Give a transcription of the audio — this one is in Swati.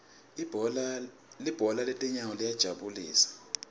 libhola letinyawo liyajabulisa